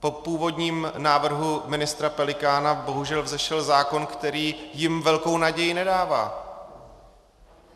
Po původním návrhu ministra Pelikána bohužel vzešel zákon, který jim velkou naději nedává.